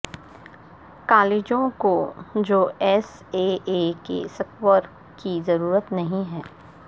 کالجوں کو جو ایس اے اے کے سکور کی ضرورت نہیں ہے